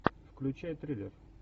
включай триллер